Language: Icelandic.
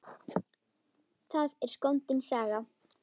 Það er skondin saga.